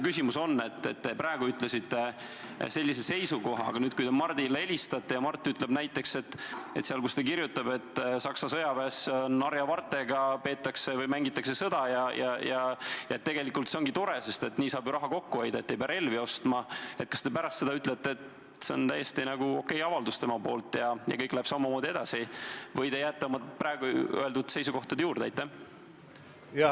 Te praegu ütlesite sellise seisukoha, aga kui te Mardile helistate ja Mart ütleb näiteks, et kui ta kirjutab, et Saksa sõjaväes mängitakse harjavartega sõda, siis tegelikult see ongi tore, sest nii saab raha kokku hoida ja ei pea relvi ostma, siis kas te pärast ütlete, et see on täiesti okei avaldus tal, ja kõik läheb samamoodi edasi, või te jääte oma praegu öeldud seisukohtade juurde?